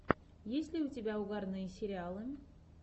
есть ли у тебя угарные сериалы